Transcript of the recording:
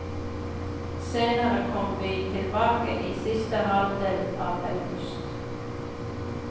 Senere kom vi tilbake i siste halvdel av august.